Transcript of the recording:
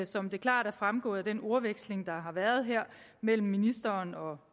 som det klart er fremgået af den ordveksling der har været her mellem ministeren og